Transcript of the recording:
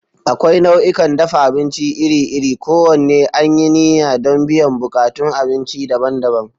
Akwai nau'ikan dafa abinci iri-iri, kowanne an yi niyya don biyan buƙatun abinci daban-daban.